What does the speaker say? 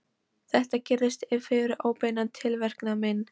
Þetta gerðist fyrir óbeinan tilverknað minn.